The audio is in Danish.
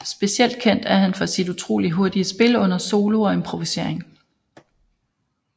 Specielt kendt er han for sit utrolig hurtige spil under solo og improvisering